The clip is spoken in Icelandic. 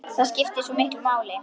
Það skiptir svo miklu máli.